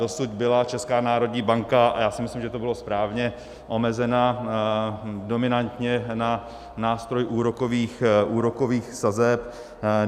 Dosud byla Česká národní banka - a já si myslím, že to bylo správně - omezena dominantně na nástroj úrokových sazeb.